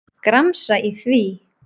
Gramsa í því.